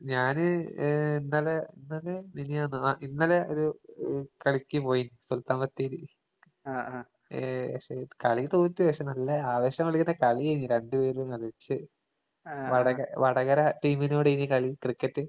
ഞാന് ഏഹ് ഇന്നലെ ഇന്നലെ മിഞ്ഞാന്നോ ആഹ് ഇന്നലെ ഒരു എഹ് കളിക്ക് പോയി സുൽത്താൻ ബത്തേരി. ഏഹ് പക്ഷെ കളി തോറ്റ്, പക്ഷെ നല്ല ആവേശം കൊള്ളിക്കുന്ന കളിയേഞ്ഞ് രണ്ട് പേരും കളിച്ചെ. വടക വടകര ടീമിനോടേന് കളി ക്രിക്കറ്റ്.